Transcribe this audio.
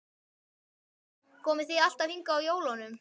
Hugrún: Komið þið alltaf hingað á jólunum?